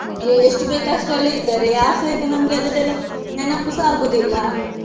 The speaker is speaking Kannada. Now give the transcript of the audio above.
ಅಹ್ ಎಷ್ಟು ಬೇಕು ಅಷ್ಟರಲ್ಲೇ ಇದ್ದಾರೆ ಯಾರ್ಸ ಈಗ ನಮ್ಗೆ ಅದನ್ನೆಲ್ಲ ನೆನಪುಸ ಆಗುದಿಲ್ಲ.